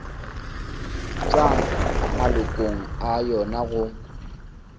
tšwa malokong a yona go